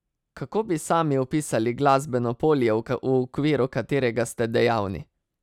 Kako bi sami opisali glasbeno polje, v okviru katerega ste dejavni?